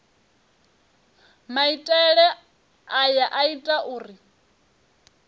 maitele aya a ita uri